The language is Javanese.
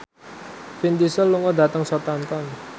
Vin Diesel lunga dhateng Southampton